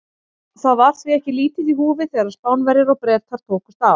Það var því ekki lítið í húfi þegar Spánverjar og Bretar tókust á.